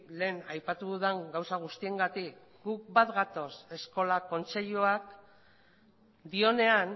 lehen aipatu dudan gauza guztiengatik gu bat gatoz eskola kontseiluak dionean